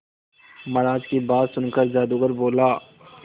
महाराज की बात सुनकर जादूगर बोला